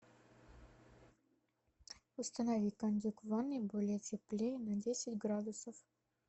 установи кондюк в ванной более теплее на десять градусов